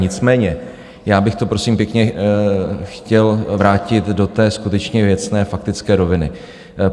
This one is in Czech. Nicméně já bych to, prosím pěkně, chtěl vrátit do té skutečně věcné, faktické roviny.